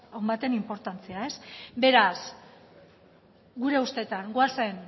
on baten inportantzia beraz gure ustetan goazen